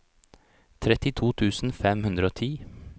trettito tusen fem hundre og ti